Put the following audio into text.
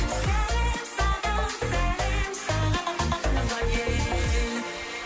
сәлем саған сәлем саған туған ел